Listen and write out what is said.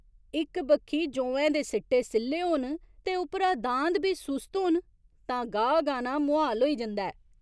इक बक्खी जौएं दे सिट्टे सि'ल्ले होन ते उप्परा दांद बी सुस्त होन तां गाह् गाह्‌ना मुहाल होई जंदा ऐ।